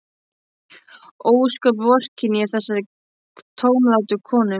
Ósköp vorkenni ég þessari tómlátu konu.